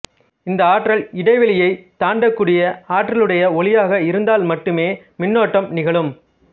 இந்த ஆற்றல் இடைவெளியைத் தாண்டக்கூடிய ஆற்றலுடைய ஒளியாக இருந்தால் மட்டுமே மின்னோட்டம் நிகழும்